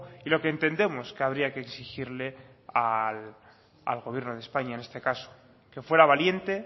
y lo que entendemos que habría que exigirle al gobierno de españa en este caso que fuera valiente